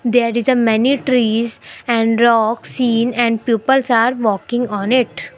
There is a many trees and rock seen and peoples are walking on it.